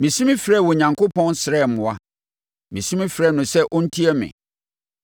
Mesu mefrɛɛ Onyankopɔn srɛɛ mmoa; mesu mefrɛɛ no sɛ ɔntie me.